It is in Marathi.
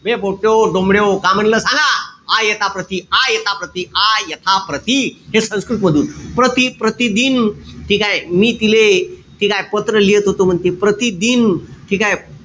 बे पोट्ट्याहो, डोमड्याहो का म्हणलं सांगा आ, यथा, प्रति. आ, यथा, प्रति. हे संस्कृत मधून. प्रति प्रतिदिन ठीकेय? मी तिले ठीकेय? पत्र लिहत होतो म्हणे. प्रतिदिन ठीकेय?